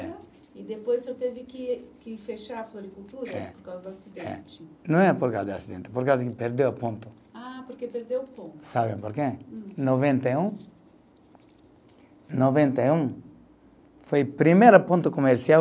E depois o senhor teve que que fechar a floricultura. É. Por causa do acidente. É, não é por causa do acidente, porque a gente perdeu o ponto. Ah, porque perdeu o ponto. Sabe por quê? Hum. Noventa e um, noventa e um foi o primeiro ponto comercial